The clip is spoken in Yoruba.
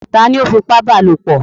Ta ló fipá bá lopọ̀?